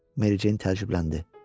Mericeyn təəccübləndi.